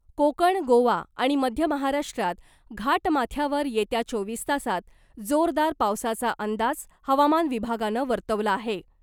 कोकण , गोवा आणि मध्य महाराष्ट्रात घाटमाथ्यावर येत्या चोवीस तासात जोरदार पावसाचा अंदाज हवामान विभागानं वर्तवला आहे .